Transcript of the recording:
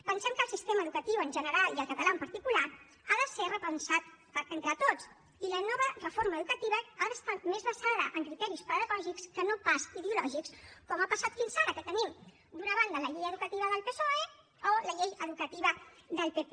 pensem que el sistema educatiu en general i el català en particular ha de ser repensat entre tots i la nova reforma educativa ha d’estar més basada en criteris pedagògics que no pas ideològics com ha passat fins ara que tenim d’una banda la llei educativa del psoe o la llei educativa del pp